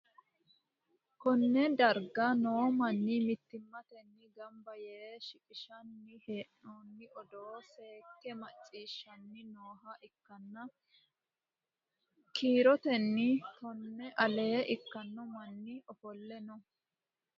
konne darga noo manni mittimmatenni gamba yee shiqqinshanni hee'noonni odoo seekke macciishshanni nooha ikkanna, kiirotennino tonnu ale ikkanno manni ofolle no.